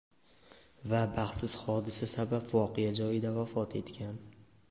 Va baxtsiz hodisa sabab voqea joyida vafot etgan .